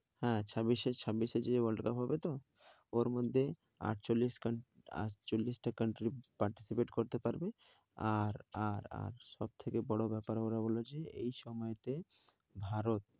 হ্যাঁ, ছাব্বিশে ছাব্বিশে যে world cup হবে তো? হ্যাঁ ওর মধ্যে আটচল্লিশ আটচল্লিশটা country participate করতে পারবে। আর আর আর সবথেকে বড়ো ব্যাপার ওরা বলেছে, এই সময়তে ভারত